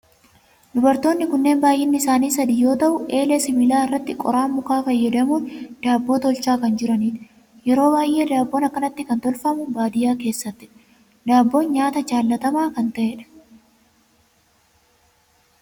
Dubartoonni kunneen baayyinni isaanii sadi yoo ta'u eelee sibiilaa irratti qoraan mukaa fayyadamun daabboo tolchaa kan jiranidha. Yeroo baayyee daabboon akkanatti kan tolfamu baadiyaa keessattidha. Daabboon nyaata jaalatamaa kan ta'edha.